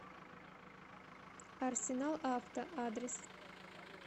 арсенал авто адрес